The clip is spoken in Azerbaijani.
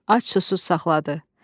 Ac susuz saxladı.